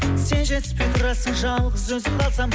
сен жетіспей тұрасың жалғыз өзім қалсам